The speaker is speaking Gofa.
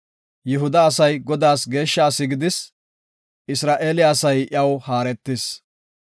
Yihuda asay Godaas geeshsha asi gidis; Isra7eele asay iyaw haaretis.